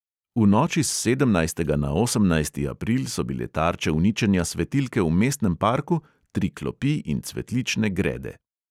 V noči s sedemnajstega na osemnajsti april so bile tarče uničenja svetilke v mestnem parku, tri klopi in cvetlične grede.